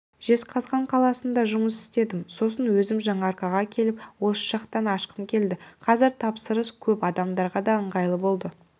жезқазған қаласында жұмыс істедім сосын өзім жаңаарқаға келіп осы жақтан ашқым келді қазір тапсырыс көп адамдарға да ыңғайлы болды